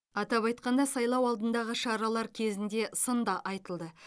атап айтқанда сайлау алдындағы шаралар кезінде сын да айтылды